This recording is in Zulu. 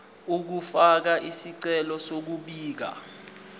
ukufaka isicelo sokubika